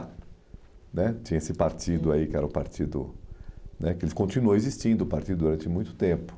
né Tinha esse partido aí, uhum, que era o partido né... Ele continuou existindo o partido durante muito tempo.